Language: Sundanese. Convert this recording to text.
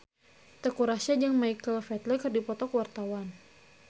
Teuku Rassya jeung Michael Flatley keur dipoto ku wartawan